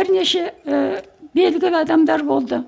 бірнеше ііі белгілі адамдар болды